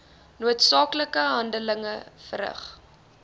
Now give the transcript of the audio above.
noodsaaklike handeling verrig